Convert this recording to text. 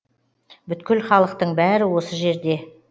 бүткіл халықтың бәрі осы жерде